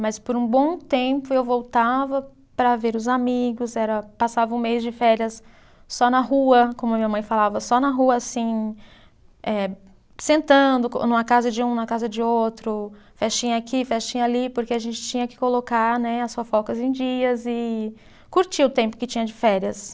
Mas por um bom tempo eu voltava para ver os amigos era, passava um mês de férias só na rua, como a minha mãe falava, só na rua assim, eh sentando co, numa casa de um, na casa de outro, festinha aqui, festinha ali, porque a gente tinha que colocar né, as fofocas em dias e curtir o tempo que tinha de férias.